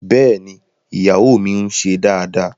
Bẹ́ẹ̀ni, iyawo mi n ṣe daadaa